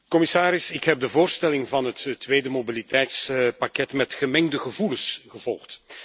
Commissaris, ik heb de voorstelling van het tweede mobiliteitspakket met gemengde gevoelens gevolgd.